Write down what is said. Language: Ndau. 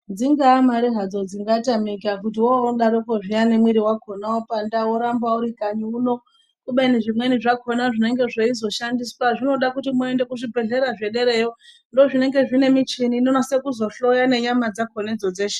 Dzingaa mare hadzo dzingatamika kuti worodaro kwo zviyaa nemwiri wakhona wapanda woramba uri kanyi uno. Kubeni zvimweni zvakhona zvinenge zveizoshandiswa zvinoda kuti muende kuzvibhendlera zvederayo ndozvinenge zvine muchini inonasa kuzohloya nenyama dzakhonadzo dzeshe.